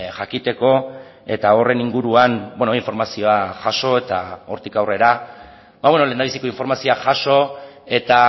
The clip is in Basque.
jakiteko eta horren inguruan informazioa jaso eta hortik aurrera lehendabiziko informazioa jaso eta